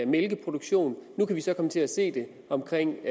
mælkeproduktion og nu kan vi så komme til at se det omkring